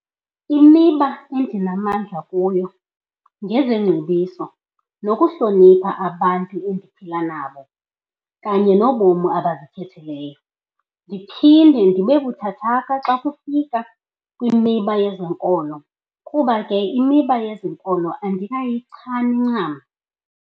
Imiba endinamandla kuwo ngezeengcbiso nokuhlonipha abantu endiphila nabo kanye nobomu abazikhetheleyo, ndiphinde ndibebuthathaka kufika kwimiba ezenkolo kuba ke kwimiba yezenkolo andikayichani ncam.